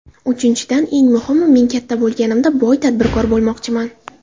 Uchinchidan, eng muhimi: Men katta bo‘lganimda boy tadbirkor bo‘lmoqchiman.